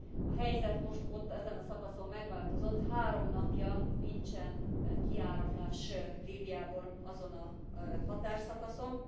A helyzet most ott, ezen a szakaszon megváltozott, három napja nincsen kiáramlás Líbiából azon a határszakaszon.